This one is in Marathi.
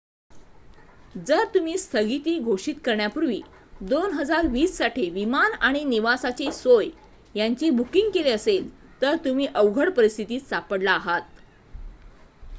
जर तुम्ही स्थगिती घोषित करण्यापूर्वी 2020 साठी विमान आणि निवासाची सोय यांचे बुकिंग केले असेल तर तुम्ही अवघड परिस्थितीत सापडला आहात